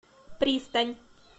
пристань